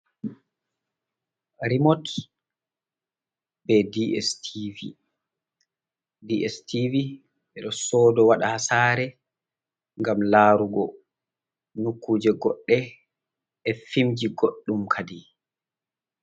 Rimot be dstv, dstv ɓe ɗo sodo waɗa haa sare gam larugo nukuje goɗɗe e fimji goɗɗum kadi.